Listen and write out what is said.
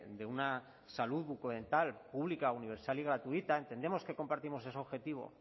de una salud bucodental pública universal y gratuita entendemos que compartimos ese objetivo